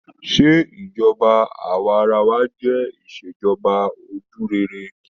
Se ìṣèjọba awaarawa jẹ Ìṣèjọba ojúrere?